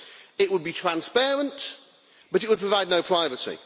It would be transparent, but it would provide no privacy.